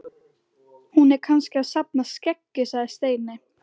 Hún er kannski að safna skeggi sagði Steini.